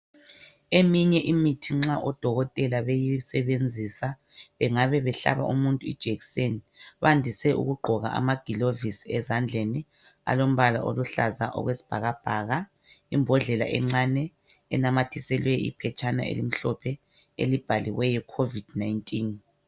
Eminye imithi nxa odokotela beyisebenzisa bengaba behlaba umuntu ijekiseni kwandiswe ukugqokwa amagilovisi ezandleni alombala oluhlaza okwesibhakabhaka. Imbhodlela encane enamathiselwe iphetshane elimhophe elibhaliweyo COVID19